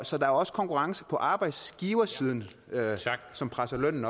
så der er også konkurrence på arbejdsgiversiden som presser lønnen